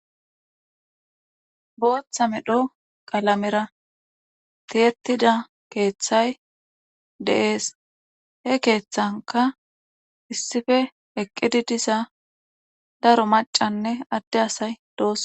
Booththa medho qalamera thiyettida keethay de7ees he keethankka issipe eqqidi diza daro maccanne adde asay doos.